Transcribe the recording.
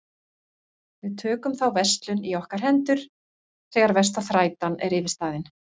Við tökum þá verslun í okkar hendur þegar versta þrætan er yfirstaðin.